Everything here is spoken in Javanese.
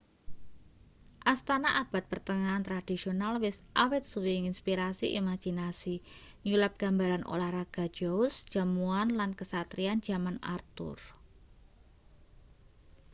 astana abad pertengahan tradisional wis awit suwe nginspirasi imajinasi nyulap gambaran olahraga joust jamuan lan kasatriyan jaman arthur